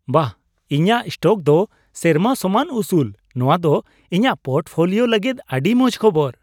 ᱵᱟᱦ , ᱤᱧᱟᱜ ᱥᱴᱚᱠ ᱫᱚ ᱥᱮᱨᱢᱟ ᱥᱚᱢᱟᱱ ᱩᱥᱩᱞ ! ᱱᱚᱣᱟ ᱫᱚ ᱤᱧᱟᱜ ᱯᱳᱨᱴᱯᱷᱳᱞᱤᱭᱳ ᱞᱟᱹᱜᱤᱫ ᱟᱹᱰᱤ ᱢᱚᱡ ᱠᱷᱚᱵᱚᱨ ᱾